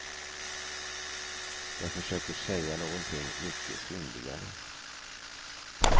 Jag försöker säga någonting mycket fyndigare.